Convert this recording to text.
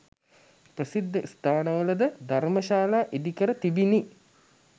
ප්‍රසිද්ධ ස්ථානවල ද ධර්ම ශලා ඉදිකර තිබිණි.